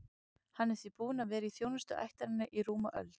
Hann er því búinn að vera í þjónustu ættarinnar í rúma öld.